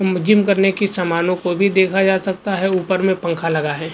म जिम करने की सामानों को भी देखा जा सकता है ऊपर में पंखा लगा है।